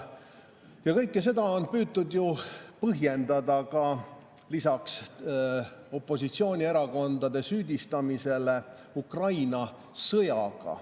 Ja kõike seda on püütud põhjendada lisaks opositsioonierakondade süüdistamisele Ukraina sõjaga.